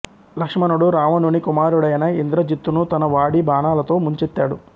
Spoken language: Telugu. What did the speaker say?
లక్ష్మణుడు రావణుని కుమారుడైన ఇంద్రజిత్తును తన వాడి బాణాలతో ముంచెత్తాడు